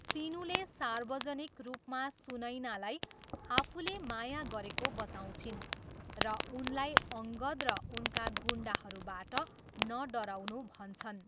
सिनुले सार्वजनिक रूपमा सुनैनालाई आफूले माया गरेको बताउँछिन् र उनलाई अङ्गद र उनका गुन्डाहरूबाट नडराउनू भन्छन्।